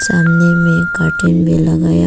सामने में कर्टन भी लगाया--